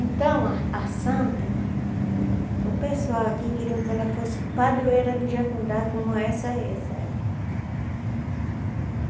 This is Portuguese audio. Então, a a Santa, o pessoal aqui queriam que ela fosse padroeira do Jacundá, como essa é, sabe?